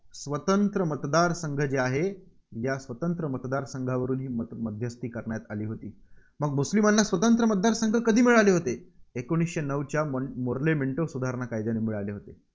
स्वतंत्र मतदारसंघ जे आहे, या स्वतंत्र मतदारसंघावरून ही मध्यस्थी करण्यात आली होती. मग मुस्लिमांना स्वतंत्र मतदारसंघ कधी मिळाले होते? एकोणीसशे नऊच्या मॉ मॉर्ले मेंटो सुधारणा कायद्याने मिळाले होते.